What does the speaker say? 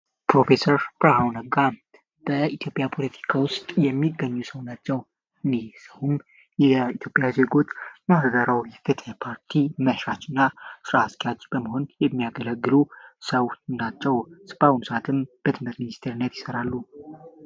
ፕሮፌሰር ብርሀኑ ነጋ በኢትዮጵያ ፖለቲካ ውስጥ የሚገኙ ሰው ናቸው እኚህ ሰው የትግራይ ዜጎች የማህበራዊ የፍትህ መስራችና ስራ አስኪያጅ ሲሆኑ በመሆን የሚያገለግሉ ሰው ናቸው። እስከ አሁን በትምህርት ሚኒስቴርነት ይሠራሉ።